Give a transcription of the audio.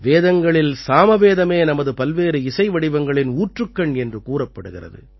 வேதங்களில் சாமவேதமே நமது பல்வேறு இசை வடிவங்களின் ஊற்றுக்கண் என்று கூறப்படுகிறது